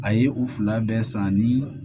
A ye u fila bɛɛ san ni